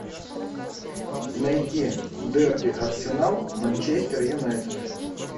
найти дерби арсенал манчестер юнайтед